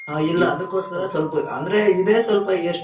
ಹ ಇಲ್ಲಅದುಕ್ಕೋಸ್ಕರ ಸ್ವಲ್ಪ ಅಂದ್ರೆ ಇದೆ ಸ್ವಲ್ಪ ಎಷ್ಟ್